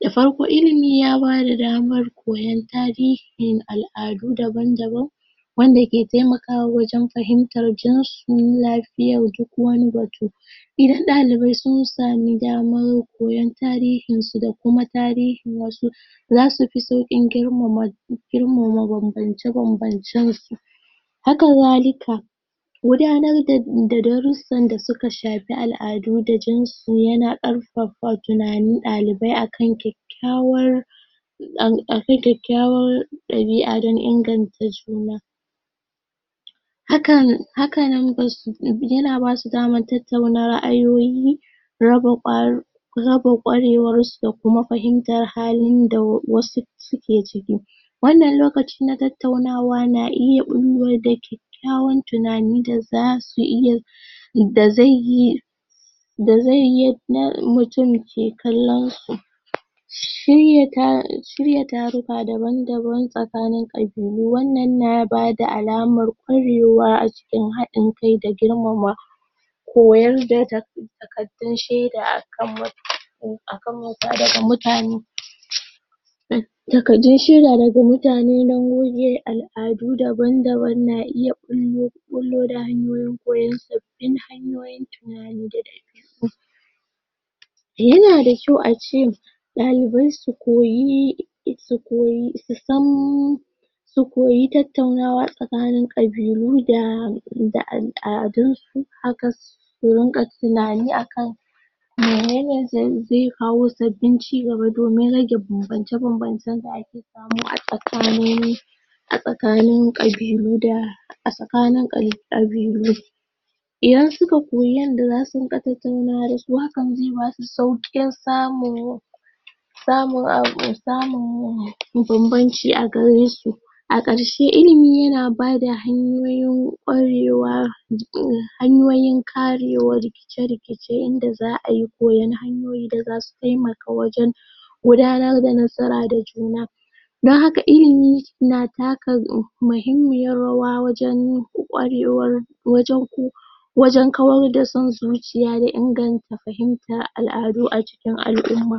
da farko ilimi ya bada damar koyar tarihin al'adu daban-daban wan da ke taimakawa wajen fahimtan, jinsu yafi yau duk wani batu idan dalibai sun sami daman koyar tarihin su da kuma tarihin wasu zasu fi saukin girmama banbance banbancen su haka zalika gudanar da darrusan da suka shafi al'adu da sinsu yana karfafa tunanin, dalibai akan kyakkwawan dan kyakkyawan dabi'a dan inganta suna hakan haka numbern su, yana basu daman tattauna raayoyi raba kwarewas su da kuma fahimtar halin da wasu sune ciki wan nan lokacin na tattaunawa na iya bullo da kyakyawan tunani da zasu da zaiyi da zaiyi mutun ke kallon su shirya taruka daban-daban tsakanin kabilu shirya taruka daban daban tsakanin kabilu wan nan nabada al'amar kwarewa a cikin hadin kai da girma koyar da takardun shaida a kan mutane akan wauta daga mutane da ga dai shirya da ga mutane dan goge al'adu daban daban na iya bullo bullo da hanyoyin koyan sabbin hanyoyin tunani da ga al'umma yana da kyau ace dalibai su koyi su koyi su san su koyi tattaunawa tsakanin kabilu da da aladun su haka su rinka tunani akan menene zai, zai kawo sabbin ci gaba domin rage banbace banbace da ake samu a tsakanin a tsakanin kabilu da a tsakanin kabilu idan suka koyi yadda za su rinka tattaunawa dasu hakan, zai basu saukin samun yin samun, samun yin banbanci a garesu a karshe ilimi, yana bada hanyoyin kwarewa hanyoyin karewar rikice rikice inda za a yi koyan hanyoyi da zasu taimaka wajen gudanar da nasara da juna dan haka ilimi na taka mahimmiyar rawa wajen wajen kwarewar wajen ku wajen kawar da son zuciya da inganta fahimtan al'adu a cikin al'umma